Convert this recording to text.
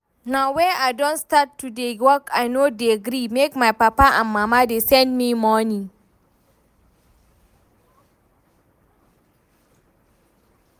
Now wey I don start to dey work I no dey gree make my papa and mama dey send me money